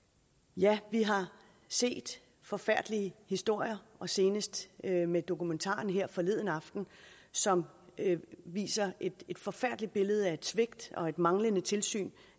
ja vi har set forfærdelige historier senest med dokumentaren her forleden aften som viste et et forfærdeligt billede af svigt og manglende tilsyn